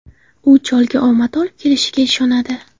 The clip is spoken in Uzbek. U cholga omad olib kelishiga ishonadi.